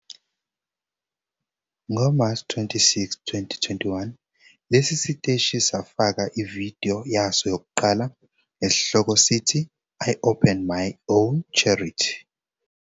NgoMashi 26, 2021, lesi siteshi safaka ividiyo yaso yokuqala esihloko sithi "I Opened My Own Charity!"